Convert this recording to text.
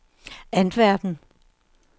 Antwerpen